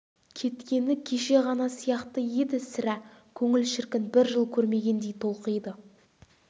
кеткені кеше ғана сияқты еді сірә көңіл шіркін бір жыл көрмегендей толқиды